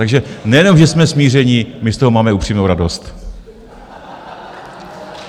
Takže nejenom že jsme smíření, my z toho máme upřímnou radost.